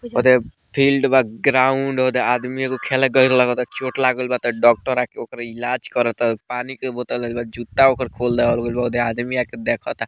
होदे फील्ड बा ग्राउंड होदे आदमी एगो खेले गए रहल त चोट लाग गएल बा त डॉक्टर आ के ओकरा इलाज करता पानी के बोतल धइल बा जूता ओकर खोल देहल गएल बा होदे आदमी आके देखता।